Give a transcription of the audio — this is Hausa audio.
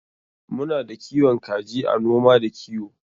Muna da kiwon kaji a noma da kiwo.